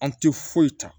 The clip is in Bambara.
An tɛ foyi ta